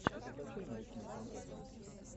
закачай научную фантастику